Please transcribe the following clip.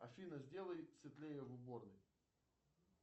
афина сделай светлее в уборной